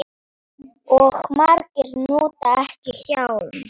Og margir nota ekki hjálm.